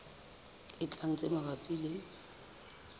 e tlang tse mabapi le